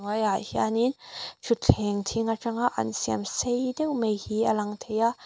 hnuaiah hianin thutthleng thing atanga an siam sei deuh mai hi a lang thei a.